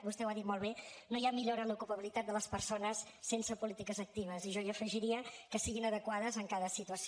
vostè ho ha dit molt bé no hi ha millora en l’ocupabilitat de les persones sense polítiques actives i jo hi afegiria que siguin adequades en cada situació